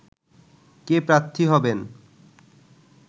কে প্রার্থী হবেন